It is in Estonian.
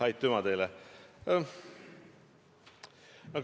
Aitüma teile!